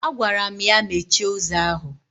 Agwaram ya mechie ụzọ ahụ!